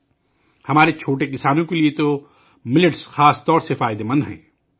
millet ہمارے چھوٹے کسانوں کے لئے ، خاص طور پر بہت فائدہ مند ہے